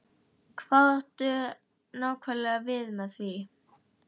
Hvað áttu nákvæmlega við með því?